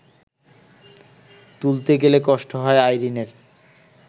তুলতে গেলে কষ্ট হয় আইরিনের